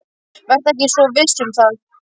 Vertu ekki svo viss um það.